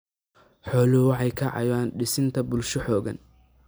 Xooluhu waxay ka caawiyaan dhisidda bulsho xooggan.